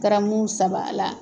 Garamu saba la.